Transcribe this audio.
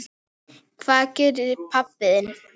Hvað gerir pabbi þinn?